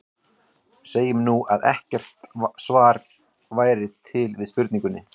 Segjum nú, að ekkert svar væri til við spurningunni.